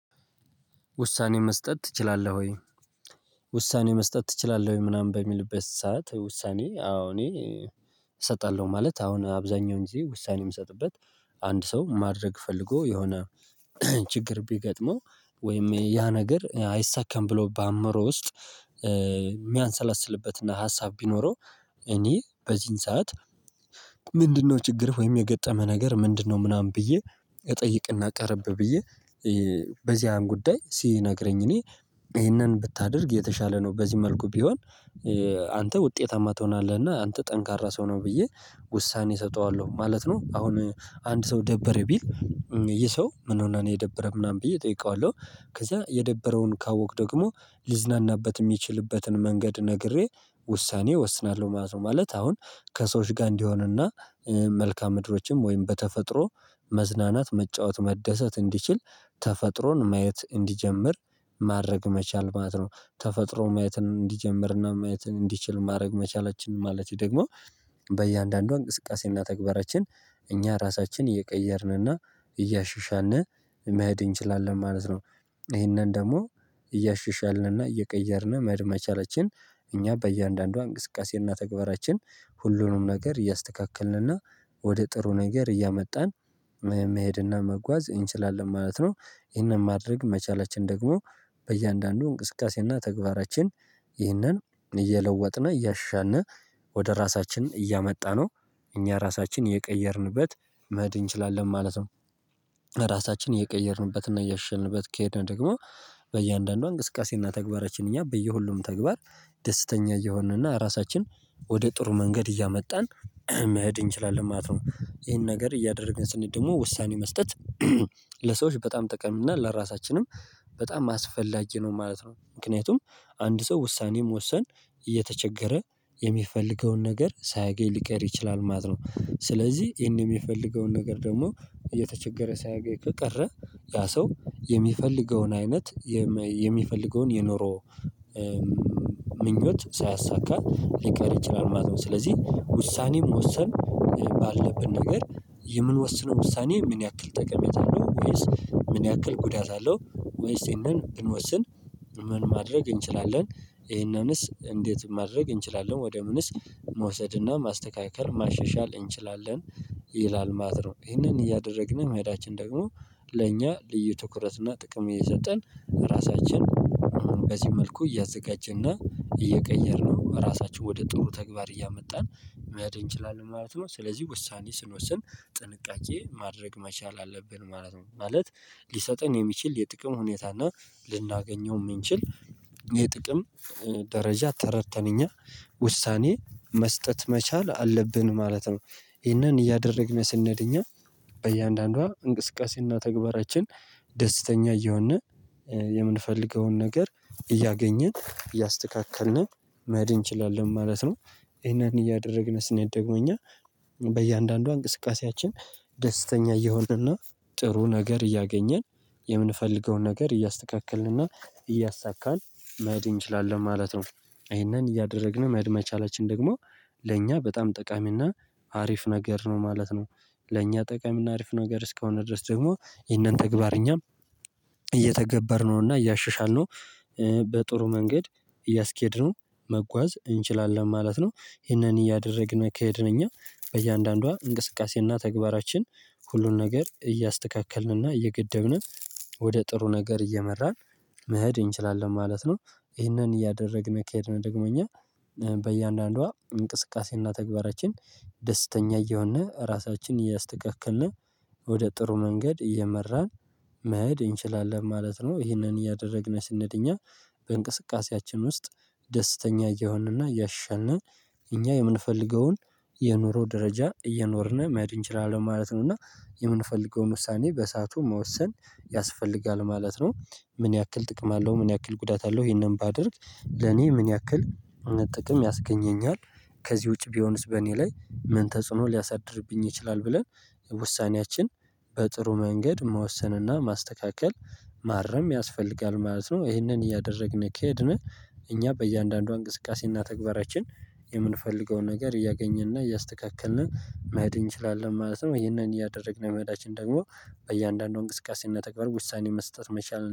ውሳኔ መስጠት ትችላለህ ወይ? ውሳኔ መስጠት ትችላለህ ምናምን በሚልበት ሰዓት ውሳኔ አዎ እኔ እሰጣለሁ ማለት አሁን አብዛኛውን ጊዜ ውሳኔ ምሰጥበት። አንድ ሰው ማድረግ ፈልጎ የሆነ ችግር ቢገጥመው ወይም ያ ነገር አይሳካም ብሎ በአእምሮ ውስጥ የሚያንሰላስልበት ሀሳብ ቢኖረው። እኔ በዚህን ሰዓት ምንድነው ችግርህ ወይም የገጠመህ ነገር ምንድነው ምናምን ብዬ። እጠይቅና ቀረብ ብዬ በዚያን ጉዳይ ሲነግረኝ እኔ ይሄንን ብታደርግ የተሻለ ነው በዚህ መልኩ ቢሆን። አንተ ውጤታማ ትሆናለህና አንተ ጠንካራ ሰው ነው ብዬ ውሳኔ እሰጠዋለሁ ማለት ነው። አሁን አንድ ሰው ደበረኝ ቢል ይሄ ሰው ምን ሆነህ ነው የደበረህ ምናምን ብዬ እጠይቀዋለሁ። ከዛ የደበረውን ካወቅክ ደግሞ ሊዝናናበት የሚችልበትን መንገድ ነግሬ ውሳኔ እወስናለሁ ማለት ነው። ማለት አሁን ከሰዎች ጋር እንዲሆንና መልካም ምድሮችም ወይም በተፈጥሮ መዝናናት መጫወት መደሰት እንዲችል ተፈጥሮን ማየት እንዲጀምር ማድረግ መቻል ማለት ነው። ተፈጥሮ ማየትን እንዲጀምርና ማየትን እንዲችል ማድረግ መቻላችን ማለት ደግሞ በእያንዳንዱ እንቅስቃሴና ተግባራችን እኛ ራሳችን እየቀየርንና እያሻሻልን መሄድ እንችላለን ማለት ነው። ይሄንን ደግሞ እያሻሻልን እና እየቀየርን መሄድ መቻላችን እኛ በእያንዳንዷ እንቅስቃሴና ተግባራችን ሁሉንም ነገር እያስተካከልንና ወደ ጥሩ ነገር እያመጣን መሄድና መጓዝ እንችላለን ማለት ነው። ይሄንን ማድረግ መቻላችን ደግሞ በእያንዳንዱ እንቅስቃሴና ተግባራችን ይህንን እየለወጥን እያሻንን ወደ ራሳችን እያመጣ ነው እኛ ራሳችን የቀየርንበት መሄድ እንችላለን ማለት ነው። ራሳችን እየቀየርንበትና እያሻሻልንበት ከሄድን ደግሞ በእያንዳንዷ እንቅስቃሴና ተግባራችን እኛ በየሁሉም ተግባር ደስተኛ እየሆንንና ራሳችን ወደ ጥሩ መንገድ እያመጣን መሄድ እንችላለን ማለት ነው። ይሄን ነገር እያደረግን ስንሄድ ደግሞ ውሳኔ መስጠት ለሰዎች በጣም ጠቃሚና ለራሳችንም በጣም አስፈላጊ ነው ማለት ነው። ምክንያቱም አንድ ሰው ውሳኔ መወሰን እየተቸገረ የሚፈልገውን ነገር ሳያገኝ ሊቀር ይችላል ማለት ነው። ስለዚህ ይሄን የሚፈልገውን ነገር ደግሞ እየተቸገረ ሳያገኝ ከቀረ ያ ሰው የሚፈልገውን አይነት የሚፈልገውን የኖሮ ምኞት ሳያሳካ ሊቀር ይችላል ማለት ነው። ስለዚህ ውሳኔ መወሰን ባለብን ነገር የምንወስነው ውሳኔ ምን ያክል ጠቀሜታ አለው ወይስ ምን ያክል ጉዳት አለው ወይስ ይሄንን ብንወስን ምን ማድረግ እንችላለን? ይሄንንስ እንዴት ማድረግ እንችላለን ወደ ምንስ መውሰድና ማስተካከል ማሻሻል እንችላለን? ይላል ማለት ነው። ይህንን እያደረግን መሄዳችን ደግሞ ለእኛ ልዩ ትኩረት እና ጥቅም እየሰጠን ራሳችን በዚህ መልኩ እያዘጋጀና እየቀየርነው ራሳችን ወደ ጥሩ ተግባር እያመጣን መሄድ እንችላለን ማለት ነው። ስለዚህ ውሳኔ ስንወስን ጥንቃቄ ማድረግ መቻል አለብን ማለት ነው። ማለት ሊሰጠን የሚችል የጥቅም ሁኔታ እና ልናገኘው የምንችል የጥቅም ደረጃ ተረድተን እኛ ውሳኔ መስጠት መቻል አለብን ማለት ነው። ይህንን እያደረግን ስንሄድ እኛ በእያንዳንዷ እንቅስቃሴና ተግባራችን ደስተኛ እየሆንን የምንፈልገውን ነገር እያገኘን እያስተካከልን መሄድ እንችላለን ማለት ነው። ይሄን እያደረግን ስንሄድ ደግሞ እኛ በእያንዳንዷ እንቅስቃሴያችን ደስተኛ እየሆንንና ጥሩ ነገር እያገኘን የምንፈልገውን ነገር እያስተካከልንና እያሳካን መሄድ እንችላለን ማለት ነው። ይሄንን እያደረግን መሄድ መቻላችን ደግሞ ለእኛ በጣም ጠቃሚና አሪፍ ነገር ነው ማለት ነው። ለእኛ ጠቃሚና አሪፍ ነገር እስከሆነ ድረስ ደግሞ ይህንን ተግባር እኛም እየተገበርነውና እያሻሻልነው በጥሩ መንገድ እያስኬድነው መጓዝ እንችላለን ማለት ነው። ይሄንን እያደረግን ከሄድን እኛ በእያንዳንዷ እንቅስቃሴና ተግባራችን ሁሉን ነገር እያስተካከልንና እየገደብን ወደ ጥሩ ነገር እየመራን መሄድ እንችላለን ማለት ነው። ይህንን እያደረግን ከሄድን ደግሞ እኛ በእያንዳንዷ እንቅስቃሴና ተግባራችን ደስተኛ እየሆንን ራሳችንን እያስተካከልን ወደ ጥሩ መንገድ እየመራን መሄድ እንችላለን ማለት ነው። ይህንን እያደረግን ስንሄድ እኛ በእንቅስቃሴያችን ውስጥ ደስተኛ እየሆንንና እያሻንን እኛ የምንፈልገውን የኑሮ ደረጃ እየኖርን መሄድ እንችላለን ማለት ነው። እና የምንፈልገውን ውሳኔ በሳዓቱ መወሰን ያስፈልጋል ማለት ነው። ምን ያክል ጥቅም አለው? ምን ያክል ጉዳት አለው? ይሄንን ባደርግ ለኔ ምን ያክል ጥቅም ያስገኘኛል? ከዚህ ውጪ ቢሆንስ በእኔ ላይ መን ተጽኑ ሊያሳድርብኝ ይችላል። ብለን ውሳኔያችን በጥሩ መንገድ መወሰንና ማስተካከል ማረም ያስፈልጋል ማለት ነው። ይህንን እያደረግን ከሄድን እኛ በእያንዳንዷ እንቅስቃሴና ተግባራችን የምንፈልገውን ነገር እያገኘንና እያስተካከልን መሄድ እንችላለን ማለት ነው። ይሄንን እያደረግን መሄዳችን ደግሞ በእያንዳንዱ እንቅስቃሴና ተግባር ውሳኔ መስጠት መቻል